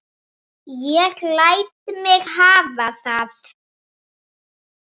Ég læt mig hafa það.